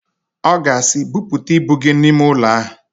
Ọ ga-asị, "Buputa ibu gị n'ime ụlọ ahụ"!